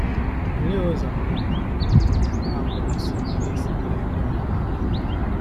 Olee ụzọ ndị a pụrụ isi nyere isi nyere ndị ọhụrụ aka?